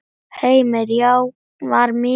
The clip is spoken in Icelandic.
Heimir: Já var mikill hávaði?